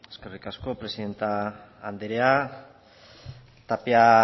eskerrik asko presidente anderea tapia